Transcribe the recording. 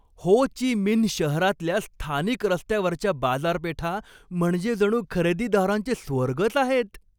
हो Chi Minh शहरातल्या स्थानिक रस्त्यावरच्या बाजारपेठा म्हणजे जणू खरेदीदारांचे स्वर्गच आहेत.